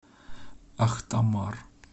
ахтамар